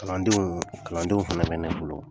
Kalandenw kalandenw fɛnɛ nɛnɛ fɔlɔ